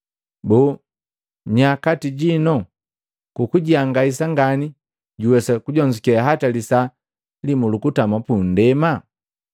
Boo, nya kati jinu kukujihangajisa ngani, jojuwesa kujonzuke hata lisaa limu lukutama punndema?